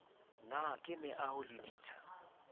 na ke meaoho le ditsha